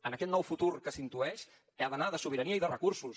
en aquest nou futur que s’intueix ha d’anar de sobirania i de recursos